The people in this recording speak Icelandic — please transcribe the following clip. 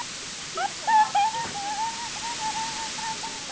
Hann stóð teinréttur og horfði grimmum augum fram fyrir sig.